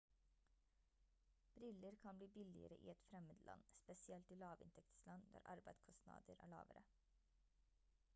briller kan bli billigere i et fremmed land spesielt i lavinntektsland der arbeidskostnader er lavere